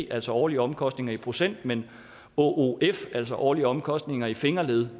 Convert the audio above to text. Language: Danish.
altså årlige omkostninger i procent men åof altså årlige omkostninger i fingerled